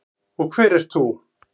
Og hver ert þú?